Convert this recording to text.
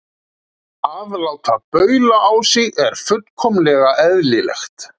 Að láta baula á sig er fullkomlega eðlilegt.